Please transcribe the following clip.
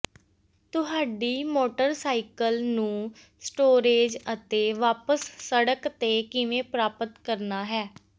ਤੁਹਾਡੀ ਮੋਟਰਸਾਈਕਲ ਨੂੰ ਸਟੋਰੇਜ ਅਤੇ ਵਾਪਸ ਸੜਕ ਤੇ ਕਿਵੇਂ ਪ੍ਰਾਪਤ ਕਰਨਾ ਹੈ